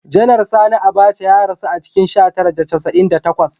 Janar Sani Abaca ya rasu a cikin sha tara da casa'in da takwas